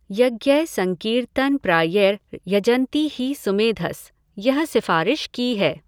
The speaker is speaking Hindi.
यज्ञै संकीर्तन प्रायैर यजन्ति हि सुमेधस, यह सिफारिश की है।